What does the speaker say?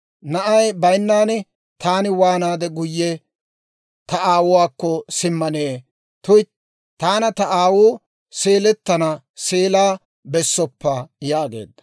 Na'ay baynnan taani waanaade guyye ta aawuwaakko simmanee? tuytti, taana ta aawuu seelettana seelaa bessoppa» yaageedda.